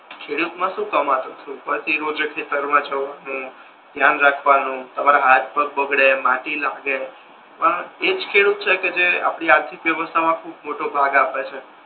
ખેડૂત મા શુ કામતો હશે! ઉપર થી રોજ ખેતર મા જવાનુ ધ્યાન રાખવાનુ તમારા હાથ પગ બગાડે માટી લાગે પણ એજ ખેડૂત છે કે જે આપડી આખી વ્યવસ્થા મા ખૂબ મોટો ભાગ આપે છે